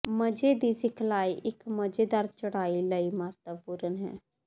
ਮਜ਼ੇ ਦੀ ਸਿਖਲਾਈ ਇਕ ਮਜ਼ੇਦਾਰ ਚੜ੍ਹਾਈ ਲਈ ਮਹੱਤਵਪੂਰਣ ਹੈ